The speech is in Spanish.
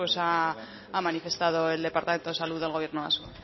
ha manifestado el departamento de salud del gobierno vasco